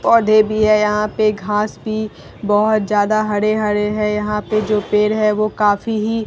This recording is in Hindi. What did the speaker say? पौधे भी है यहाँ पे घास भी बहोत ज्यादा हरे-हरे हैं यहाँ पे जो पेड़ है वह काफी ही --